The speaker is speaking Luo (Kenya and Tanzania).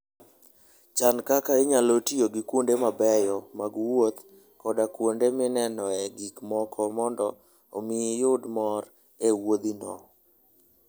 Chan kaka inyalo tiyo gi kuonde mabeyo mag wuoth koda kuonde minenoe gik moko mondo omi iyud mor e wuodhino.